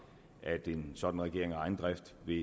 at en sådan regering af egen drift vil